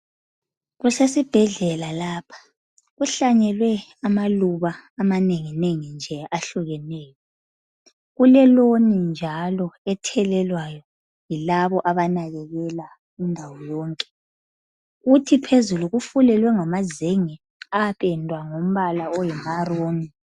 Kusesibhedlela lapha kuhlanyelwe amaluba amanenginengi nje ahlukeneyo kuleloni njalo ethelelwayo yilabo abanakekela indawo yonke kuthi phezulu kufulelwe ngamazenge apendwa ngombala oyi maroon.